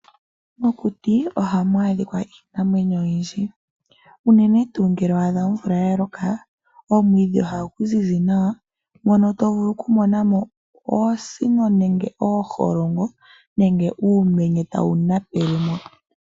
Mokuti ohamu adhika iinamwenyo oyindji unene tuu ngele wa adha omvula ya loka. Omwiidhi ohagu ziz nawa ngono tovulu oku monamo oonsino nenge ooholongo nenge uumenye tawu napele mo.